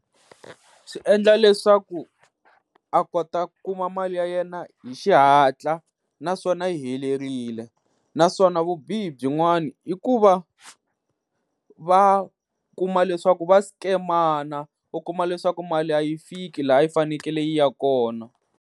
Swi endla leswaku a kota ku kuma mali ya yena hi xihatla, naswona yi helerile. Naswona vubihi byin'wani i ku va va kuma leswaku va sikemana u kuma leswaku mali a yi fiki laha yi fanekele yi ya kona.